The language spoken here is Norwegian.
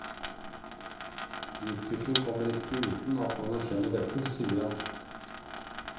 Utvikling kommer ikke uten at man erkjenner dette, sier han.